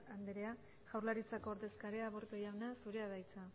andrea jaurlaritzako ordezkaria aburto jauna zurea da hitza